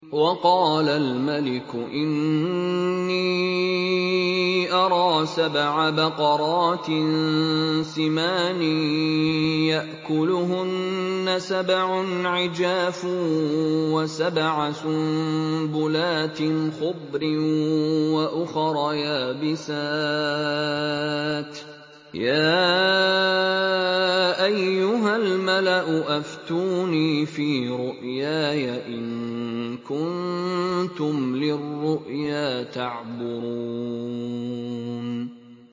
وَقَالَ الْمَلِكُ إِنِّي أَرَىٰ سَبْعَ بَقَرَاتٍ سِمَانٍ يَأْكُلُهُنَّ سَبْعٌ عِجَافٌ وَسَبْعَ سُنبُلَاتٍ خُضْرٍ وَأُخَرَ يَابِسَاتٍ ۖ يَا أَيُّهَا الْمَلَأُ أَفْتُونِي فِي رُؤْيَايَ إِن كُنتُمْ لِلرُّؤْيَا تَعْبُرُونَ